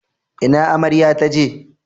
Ina amarya taje?